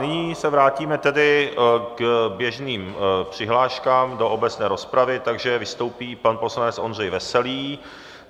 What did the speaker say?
Nyní se vrátíme tedy k běžným přihláškám do obecné rozpravy, takže vystoupí pan poslanec Ondřej Veselý.